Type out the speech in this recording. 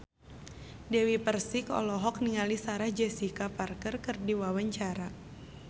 Dewi Persik olohok ningali Sarah Jessica Parker keur diwawancara